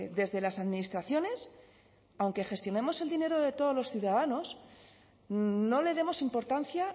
desde las administraciones aunque gestionamos el dinero de todos los ciudadanos no le demos importancia